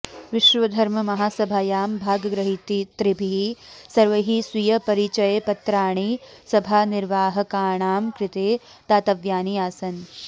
विश्वधर्ममहासभायां भागग्रहीतृभिः सर्वैः स्वीयपरिचयपत्राणि सभानिर्वाहकाणां कृते दातव्यानि आसन्